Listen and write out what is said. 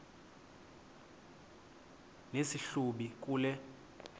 nesi hlubi kule